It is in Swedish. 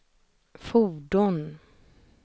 fordon